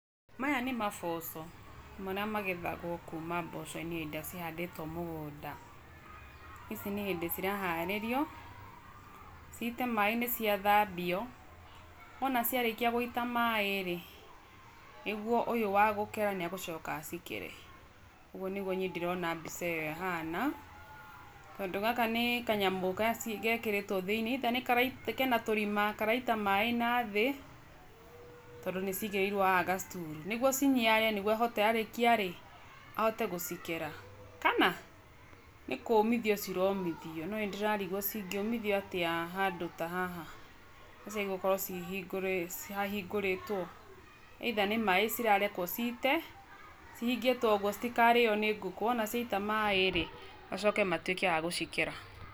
Maya nĩ maboco, marĩa magethagwo kuuma mboco-inĩ hĩndĩ ĩrĩa cihandĩtwo mũgũnda. Ici nĩ hĩndĩ ciraharĩrio, ciite maaĩ nĩciathambio, wona ciarĩkia gũita maaĩ rĩ, nĩguo ũyũ wa gũkera nĩ agũcoka acikere. Ũguo nĩguo niĩ ndĩrona mbica ĩyo ĩhana, tondũ gaka nĩ kanyamũ gekĩrĩtwo thĩiniĩ either nĩ kena tũrima, karaita maaĩ na thĩ, tondũ nĩcigirĩirwo haha ga stool nĩguo ciniare nĩguo ahote, arĩkia rĩ, ahote gũcikera. Kana, nĩ kũũmithio ciromithio, no nĩndĩrarigwo cingĩũmithio atĩa handũ ta haha, na ciagĩrĩirwo gũkorwo hahingũrĩtwo? Either nĩ maaĩ cirarekwo ciite, cihingĩtwo ũguo citikarĩo ni ngũkũ, wona ciaita maaĩ rĩ, macoke matuĩke a gũcikera.